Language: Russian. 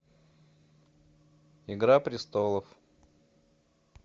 игра престолов